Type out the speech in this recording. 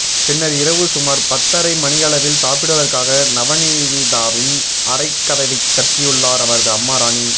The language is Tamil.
பின்னர் இரவு சுமார் பத்தரை மணியளவில் சாப்பிடுவதற்காக நவநீதாவின் அறைக்கதவைத் தட்டியுள்ளார் அவரது அம்மா ராணி